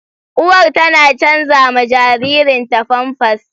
Uwar tana canza ma jaririnta famfas.